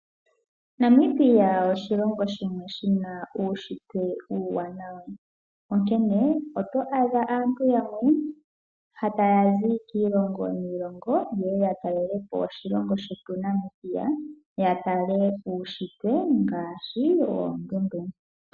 Namibia oshilongo shimwe shina uushitwe uuwanawa, onkene oto adha aantu yamwe ta yazi kiilongo niilongo ye ye ya talelepo oshilongo shetu Namibia, ya tale uushitwe ngaashi oondundu.